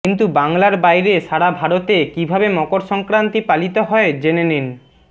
কিন্তু বাংলার বাইরে সারা ভারতে কিভাবে মকর সংক্রান্তি পালিত হয় জেনে নিন